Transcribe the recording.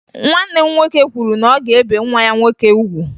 Nwanne m nwoke kwuru na ọ ga-ebe nwa ya nwoke ugwu